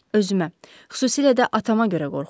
Özümə, xüsusilə də atama görə qorxuram.